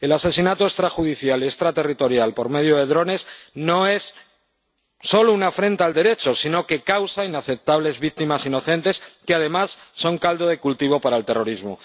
El asesinato extrajudicial y extraterritorial por medio de drones no es solo una afrenta al Derecho, sino que causa inaceptables víctimas inocentes que, además, son caldo de cultivo para el terrorismo.